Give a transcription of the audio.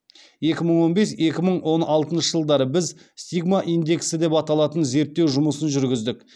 екі мың он бес екі мың он алтыншы жылдары біз стигма индексі деп аталатын зерттеу жұмысын жүргіздік